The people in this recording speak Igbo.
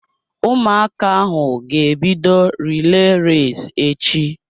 Ụmụaka ahụ ga-ebido relay race echi.